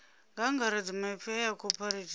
nga angaredza maipfi aya cooperative